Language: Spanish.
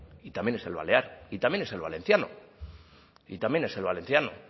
y también es el balear y también es el valenciano y también es el valenciano